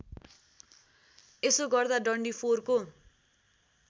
यसो गर्दा डन्डीफोरको